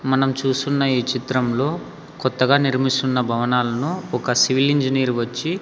మనం చూస్తున్న ఈ చిత్రంలో కొత్తగా నిర్మిస్తున్న భవనాలను ఒక సివిల్ ఇంజనీరు వచ్చి--